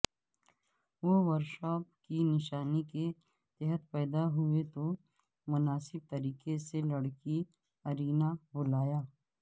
وہ ورشب کی نشانی کے تحت پیدا ہوئے تو مناسب طریقے سے لڑکی ارینا بلایا